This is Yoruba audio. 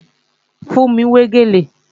Fúnmi ń wé gèlè